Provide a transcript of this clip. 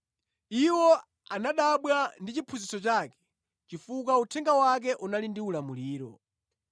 Iwo anadabwa ndi chiphunzitso chake chifukwa uthenga wake unali ndi ulamuliro.